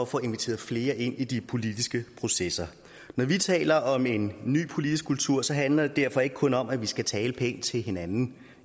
får inviteret flere ind i de politiske processer når vi taler om en ny politisk kultur handler det derfor ikke kun om at vi skal tale pænt til hinanden